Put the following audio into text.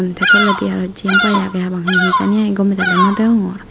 tey toledi aro jempai agey hapang he he jani agey gomey dali no deongor.